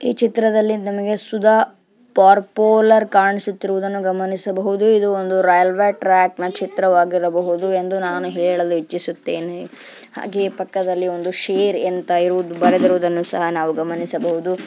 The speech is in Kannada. ಈ ಚಿತ್ರದಲ್ಲಿ ನಮಗೆ ಸುಧಾ ಪಾರ್ಪೋಲಾರ್ ಕಾಣಿಸುತ್ತಿರುವುದನ್ನು ಗಮನಿಸಬಹುದು. ಇದು ಒಂದು ರೈಲ್ವೆ ಟ್ರ್ಯಾಕ್ನಾ ಚಿತ್ರವಾಗಿರಬಹುದು ಎಂದು ನಾನು ಹೇಳಲು ಇಚ್ಚಿಸುತ್ತೇನೆ. ಹಾಗೆ ಪಕ್ಕದಲ್ಲಿ ಒಂದು ಶೇರ್ ಅಂತ ಇರೋದು ಬರೆದಿರುವುದನ್ನು ಸಹ ನಾವು ಗಮನಿಸಬಹುದು.